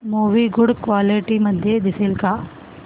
movie good quality मध्ये दिसेल का